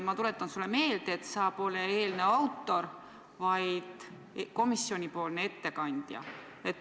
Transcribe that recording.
Ma tuletan sulle meelde, et sa pole eelnõu autor, vaid komisjonipoolne ettekandja.